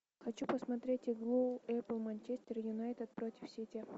хочу посмотреть игру апл манчестер юнайтед против сити